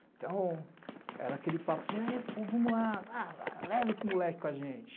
Então, era aquele papo de, vamos lá, leva esse moleque com a gente.